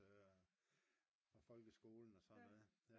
fra folkeskolen og sådan noget